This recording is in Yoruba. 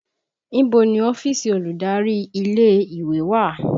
Ibo ni ọ́fíìsì olùdarí ilé ìwé wà?